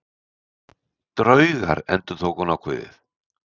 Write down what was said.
Draugar endurtók hún ákveðið.